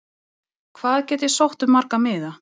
Hvað get ég sótt um marga miða?